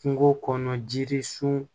Kungo kɔnɔ jiri sun